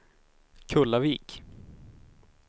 Kullavik